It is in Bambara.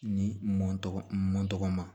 Ni n mɔn tɔgɔ n mɔ tɔgɔ ma